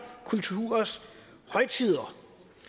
kulturers højtider